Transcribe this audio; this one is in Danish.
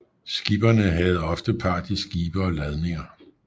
Skipperne havde oftest part i skibe og ladninger